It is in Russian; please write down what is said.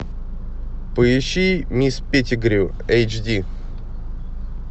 поищи мисс петтигрю эйч ди